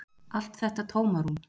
Allt þetta tómarúm.